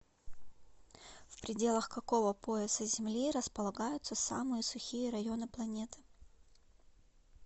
в пределах какого пояса земли располагаются самые сухие районы планеты